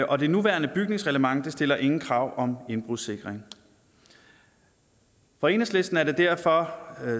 og det nuværende bygningsreglement stiller ingen krav om indbrudssikring for enhedslisten er det derfor